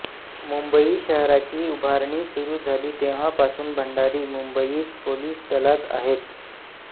मुंबई शहराची उभारणी सुरू झाली तेव्हापासून भंडारी मुंबईत पोलिस दलांत आहेत